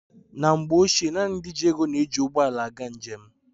Na mgbe ochie, naanị ndị ji ego na-eji ụgbọala aga njem.